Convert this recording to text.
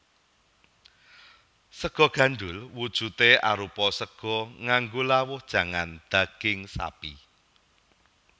Sega gandhul wujudé arupa sega nganggo lawuh jangan daging sapi